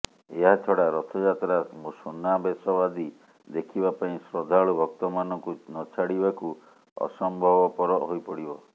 ଏହାଛଡା ରଥାଯାତ୍ରା ସୁନାବେଶ ଆଦି ଦେଖିବାପାଇଁ ଶ୍ରଦ୍ଧାଳୁ ଭକ୍ତମାନଙ୍କୁ ନଛାଡିବାକୁ ଅସମ୍ଭବପର ହୋଇପଡିବ